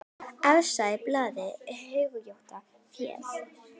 Efstur á blaði, hyggjum vér.